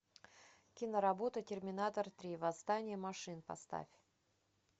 киноработа терминатор три восстание машин поставь